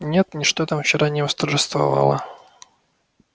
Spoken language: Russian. нет ничто там вчера не восторжествовало